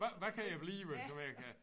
Hvad hvad kan jeg blive du ved jeg kan